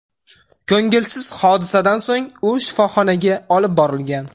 Ko‘ngilsiz hodisadan so‘ng u shifoxonaga olib borilgan.